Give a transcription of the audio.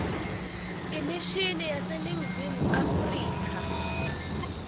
imishini yaseningizimu afrika